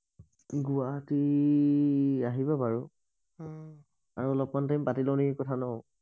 গুৱাহাটী আহিব আৰু অলপ মান টাইম পাতি লও নেকি কথা নহ